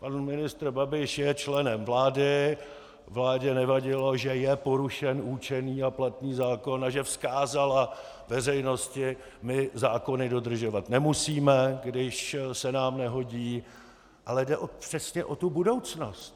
Pan ministr Babiš je členem vlády, vládě nevadilo, že je porušen určený a platný zákon a že vzkázala veřejnosti: my zákony dodržovat nemusíme, když se nám nehodí - ale jde přesně o tu budoucnost.